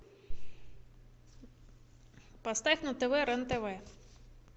поставь на тв рен тв